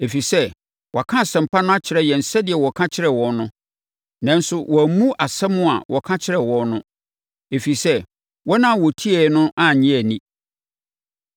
Ɛfiri sɛ wɔaka Asɛmpa no akyerɛ yɛn sɛdeɛ wɔka kyerɛ wɔn no. Nanso, wɔammu asɛm a wɔka kyerɛɛ wɔn no, ɛfiri sɛ, wɔn a wɔtiee no no annye anni.